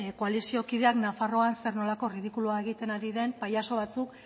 koalizio kideak nafarroan zer nolako ridikulua egiten ari den pailazo batzuk